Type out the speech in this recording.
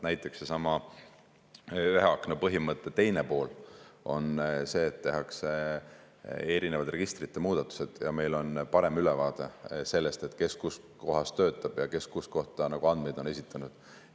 Näiteks sellesama ühe akna põhimõtte teine pool on see, et tehakse erinevad registrite muudatused ja meil on parem ülevaade sellest, kes kus kohas töötab ja kes kuhu kohta andmeid on esitanud.